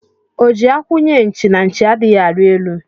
O ji akwụ nye nchi, na nchi adịghị arị elu